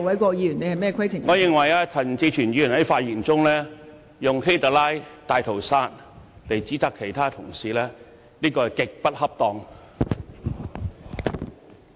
我認為陳志全議員在發言時以"希特拉"和"大屠殺"指責其他議員，言詞極不恰當。